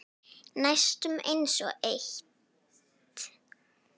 Næstum einsog eitt.